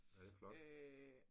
Ja det flot